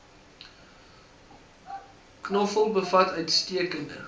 knoffel bevat uitstekende